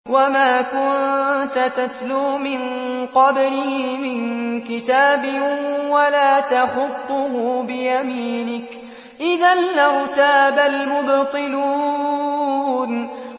وَمَا كُنتَ تَتْلُو مِن قَبْلِهِ مِن كِتَابٍ وَلَا تَخُطُّهُ بِيَمِينِكَ ۖ إِذًا لَّارْتَابَ الْمُبْطِلُونَ